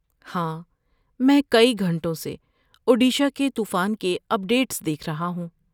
ہاں، میں کئی گھنٹوں سے اوڈیشہ کے طوفان کے اپڈیٹس دیکھ رہا ہوں۔